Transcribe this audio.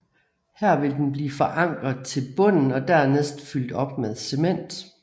Her vil den blive forankret til bunden og dernæst fyldt op med cement